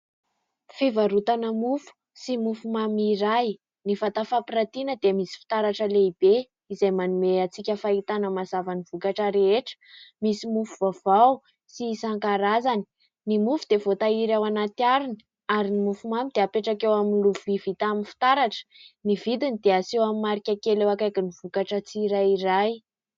Fivarotana mofo sy mofomamy iray. Ny vata fampiratiana dia misy fitaratra lehibe izay manome antsika fahitana mazava ny vokatra rehetra. Misy mofo vaovao sy isankarazany. Ny mofo dia voatahiry ao anaty harona ary ny mofomamy dia apetraka eo amin'ny lovia vita amin'ny fitaratra, ny vidiny dia aseho amin'ny marika kely eo akaikin'y vokatra tsirairay.